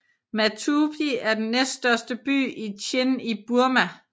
Matupi er den næststørste by i Chin i Burma